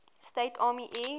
states army air